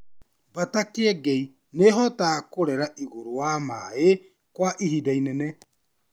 Mbata Kĩengei nĩ ĩhotaga kũrera igũrũ wa maaĩ kwa ĩhinda inene.